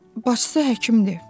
Baçısı həkimdir.